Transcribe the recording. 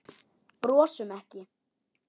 Brosum ekki.